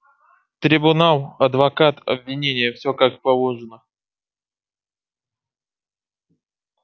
трибунал адвокат обвинение все как положено